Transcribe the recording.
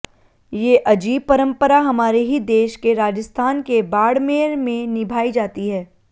ये अजीब परम्परा हमारे ही देश के राजस्थान के बाड़मेर में निभाई जाती है